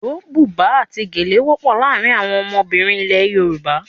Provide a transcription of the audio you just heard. Iro, buba àti gèlè wọ́pọ̀ láàárín àwọn ọmọbìnrin ilẹ̀ Yorùbá.